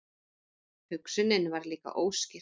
Hugsunin var líka óskýr.